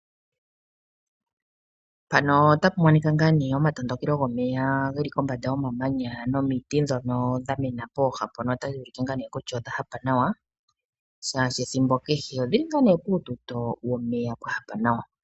Mpano otapu monika ngaa nee omatondokelo gomeya geli kombanda yomamanya nomiti dhono dhamena pooha mpono ota dhuulike ngaa nee kutya odha hapa nawa shaashi ethimbo kehe odhili ngaa nee puututo womeya pwahapa nawa.